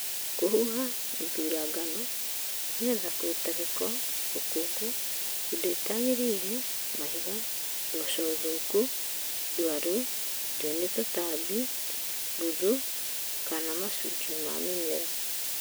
kũhuha ,gũthura ngano nĩgetha kũruta gĩko, rũkũngũ, indo itagĩrĩire, mahiga, mboco thũku, ndwaru, ndĩe nĩ tũtambi, mbuthu kana machunje ma mimera